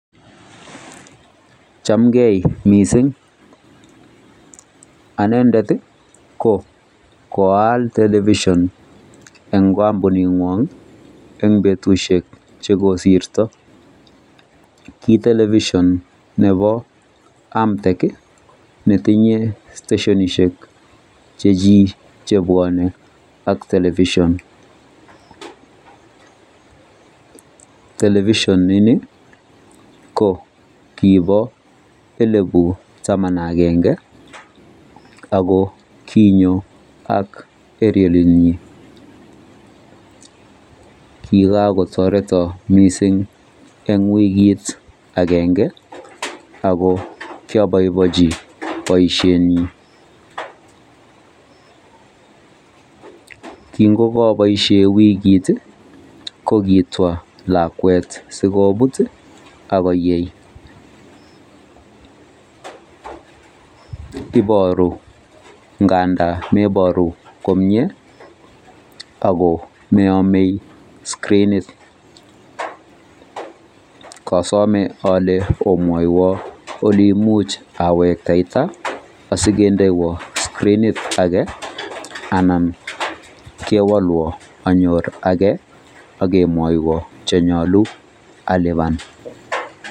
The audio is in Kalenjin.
Chamgei mising anendet koal television en kambuni ngwang en betushek chekosirto kitelevision Nebo amtec netinye stasionishek chechik chebwanen television television in ko kibo elibu Taman ak agenge ako konyo eriolit nyin kikakotareton mising en wikit agenge ako kiabaebainchi baishet nyin kingokabaishenbwikit kokitwa lakwet sikobit sikoyei ibaru ngandan komie akomeamei screnit kasome ale omwawon oleimuch awekta asikendewan screnit age anan kewalwan anyor age agemwaieon chenyalu aliban